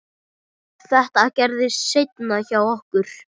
Þetta gerðist seinna hjá okkur.